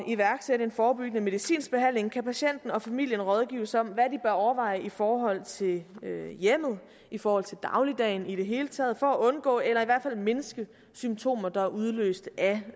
iværksætte en forebyggende medicinsk behandling kan patienten og familien rådgives om hvad overveje i forhold til hjemmet i forhold til dagligdagen i det hele taget for at undgå eller i hvert fald mindske symptomer der er udløst af